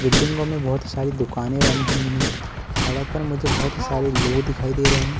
बिल्डिंगो में बहोत सारे दुकानें बनी हुई हैं। सड़क पर मुझे बहोत सारे लोग दिखाई दे रहे हैं।